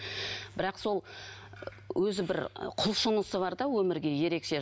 бірақ сол өзі бір құлшынысы бар да өмірге ерекше